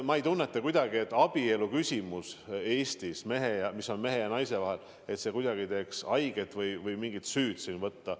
Ma ei tunneta kuidagi, et küsimus abielust mehe ja naise vahel teeks haiget või et siin tuleks mingit süüd tunda.